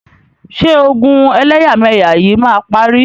Ṣé ogun ẹlẹ́yàmẹyà yìí máa parí?